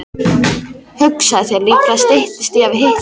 Hugsaðu þér, líklega styttist í að við hittumst.